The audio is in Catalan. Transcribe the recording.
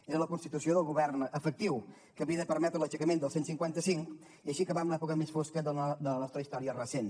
era la constitució del govern efectiu que havia de permetre l’aixecament del cent i cinquanta cinc i així acabar amb l’època més fosca de la nostra història recent